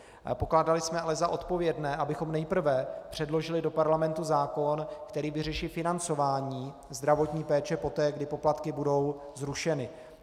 Pokládali jsme ale za odpovědné, abychom nejprve předložili do parlamentu zákon, který vyřeší financování zdravotní péče poté, kdy poplatky budou zrušeny.